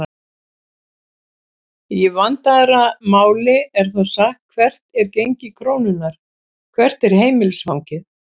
Í vandaðra máli er þó sagt hvert er gengi krónunnar?, hvert er heimilisfangið?